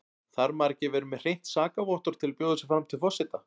Þarf maður ekki að vera með hreint sakavottorð til að bjóða sig fram til forseta?